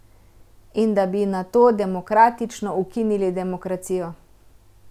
In da bi nato demokratično ukinili demokracijo.